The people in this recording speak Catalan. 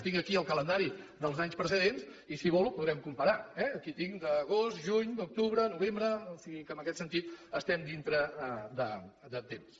tinc aquí el calendari dels anys precedents i si vol ho podrem comparar eh aquí en tinc d’agost juny d’octubre novembre o sigui que en aquest sentit estem dintre de temps